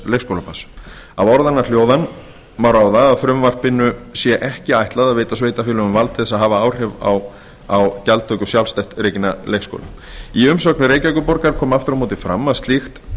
leikskólabarns af orðanna hljóðan má ráða að frumvarpinu sé ekki ætlað að veita sveitarfélögum vald til að hafa áhrif á gjaldtöku sjálfstætt rekinna leikskóla í umsögn reykjavíkurborgar kom aftur á móti fram að slíkt